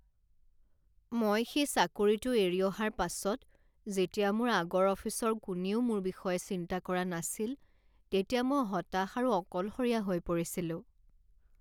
মই সেই চাকৰিটো এৰি অহাৰ পাছত যেতিয়া মোৰ আগৰ অফিচৰ কোনেও মোৰ বিষয়ে চিন্তা কৰা নাছিল তেতিয়া মই হতাশ আৰু অকলশৰীয়া হৈ পৰিছিলোঁ।